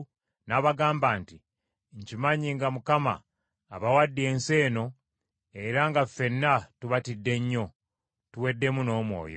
n’abagamba nti, “Nkimanyi nga Mukama abawadde ensi eno era nga ffenna tubatidde nnyo, tuweddemu n’omwoyo.